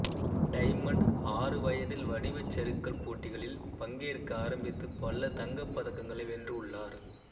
diamond ஆறு வயதில் வடிவச் சறுக்கல் போட்டிகளில் பங்கேற்க ஆரம்பித்து பல தங்க பதக்கங்களை வென்று உள்ளார்